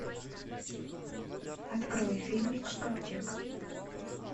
открой фильмик ковчег